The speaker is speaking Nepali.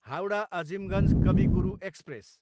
हाउडा, अजिमगञ्ज कवि गुरु एक्सप्रेस